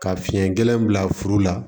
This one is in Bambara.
Ka fiɲɛ gɛlɛn bila furu la